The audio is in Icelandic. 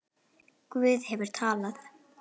Guð hefur talað.